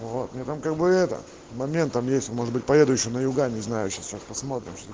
вот у меня там как бы это моментом есть может быть поеду ещё на юга не знаю сейчас посмотрим